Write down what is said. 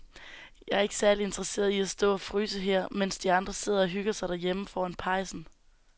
Jeg er ikke særlig interesseret i at stå og fryse her, mens de andre sidder og hygger sig derhjemme foran pejsen.